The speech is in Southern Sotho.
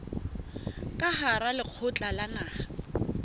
ka hara lekgotla la naha